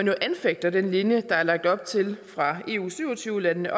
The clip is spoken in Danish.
jo anfægter den linje der er lagt op til af eu syv og tyve landene